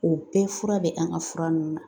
O bɛɛ fura be an ga fura nunnu na